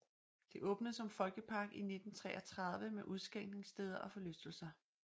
Det åbnede som folkepark i 1933 med udskænkningsteder og forlystelser